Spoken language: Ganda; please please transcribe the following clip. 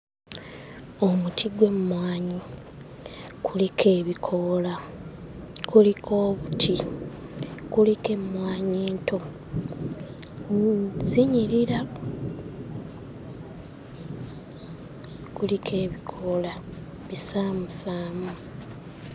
Omuti gw'emmwanyi kuliko ebikoola, kuliko obuti, kuliko emmwanyi ento, zinyirira! Kuliko ebikoola bisaamusaamu.